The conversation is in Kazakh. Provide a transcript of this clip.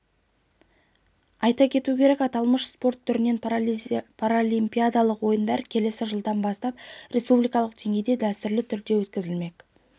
айта кету керек аталмыш спорт түрлерінен паралимпиадалық ойындар келесі жылдан бастап республикалық деңгейде дәстүрлі түрде өткізілмек